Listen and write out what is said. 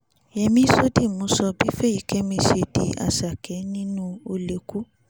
yẹmi sódìmù sọ bí fẹ́yíkémi ṣe di àṣàkè nínú o lè kú